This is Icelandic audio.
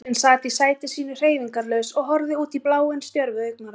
Móðirin sat í sæti sínu hreyfingarlaus og horfði útí bláinn stjörfu augnaráði.